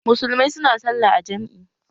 Musulmai su na sallah a jam'i